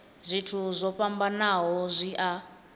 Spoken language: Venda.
zwithu zwo fhambanaho zwi a